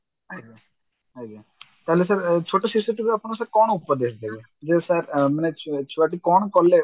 ଆଜ୍ଞା ଆଜ୍ଞା କହିଲେ sir ଛୋଟ ଶିଶୁଟି କୁ ଆପଣ sir କଣ ଉପଦେଶ ଦେବେ ଯେ sir ମାନେ ଛୁ ଛୁଆଟି କଣ କଲେ